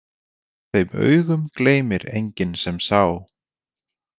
Þeim augum gleymir enginn sem sá.